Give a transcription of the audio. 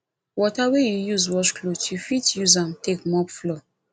water wey yu use wash cloth yu fit use am take mop floor